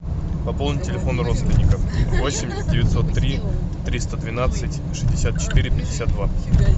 пополнить телефон родственников восемь девятьсот три триста двенадцать шестьдесят четыре пятьдесят два